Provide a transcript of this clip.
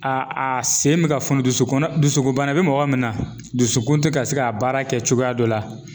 A a sen be ka funu dusukunna dusukunbana be mɔgɔ min na dusukun te ka se ka baara kɛ cogoya dɔ la